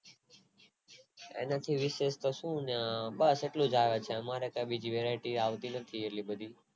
એને તો શું શું બસ એટલું જ આવે અમારા માં બીજી કે Variety આવતી નથી એટલે બધી